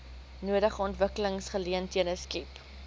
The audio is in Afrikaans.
nodige ontwikkelingsgeleenthede skep